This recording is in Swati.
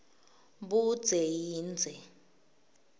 budze yindze